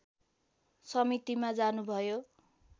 समितिमा जानुभयो